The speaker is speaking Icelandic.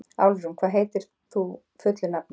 Álfrún, hvað heitir þú fullu nafni?